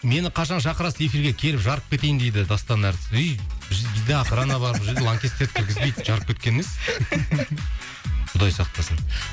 мені қашан шақырасыз эфирге келіп жарып кетейін дейді дастан әртіс үй бізде охрана бар бұл жерде ланкестерді кіргізбейді жарып кеткені несі құдай сақтасын